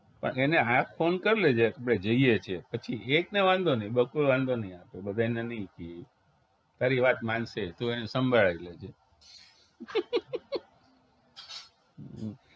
પણ એને આજ ફોન કરી લેજે કે આપણે જઈએ છીએ પછી એક ને વાંધો નહિ બકુલ વાંધો નહિ આપે બધાંયને નહિ ક્યે ઈ. તારી વાત માનશે ઈ તું એને સંભાળી લેજે